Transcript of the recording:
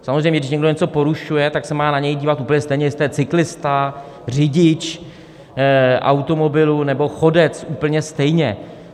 Samozřejmě, když někdo něco porušuje, tak se má na něj dívat úplně stejně, jestli to je cyklista, řidič automobilu nebo chodec, úplně stejně.